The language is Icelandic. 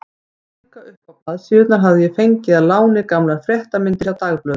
Til að lífga uppá blaðsíðurnar hafði ég fengið að láni gamlar fréttamyndir hjá dagblöðunum.